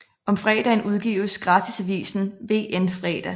Om fredagen udgives gratisavisen VN Fredag